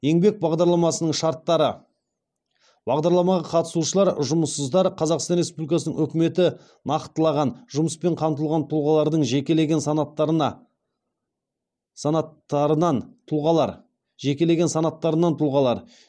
еңбек бағдарламасының шарттары бағдарламаға қатысушылар жұмыссыздар қазақстан республикасының үкіметі нақтылаған жұмыспен қамтылған тұлғалардың жекелеген санаттарынан тұлғалар